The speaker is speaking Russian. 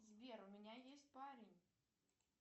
сбер у меня есть парень